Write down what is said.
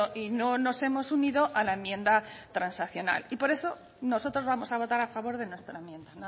y no nos hemos unido a la enmienda transaccional y por eso nosotros vamos a votar a favor de nuestra enmienda